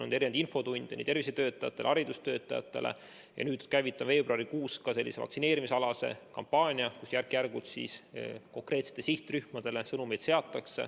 On olnud infotunde nii tervishoiutöötajatele kui ka haridustöötajatele ja nüüd veebruarikuus käivitame sellise vaktsineerimiskampaania, kus järk-järgult saadetakse konkreetsetele sihtrühmadele sõnumeid.